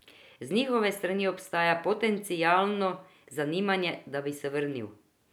Z njihove strani obstaja potencialno zanimanje, da bi se vrnil.